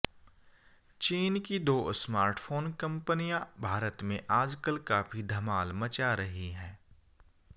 चीन की दो स्मार्टफोन कंपनियां भारत में आजकल काफी धमाल मचा रही है